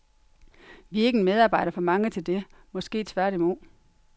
Vi er ikke en medarbejder for mange til det, måske tværtimod.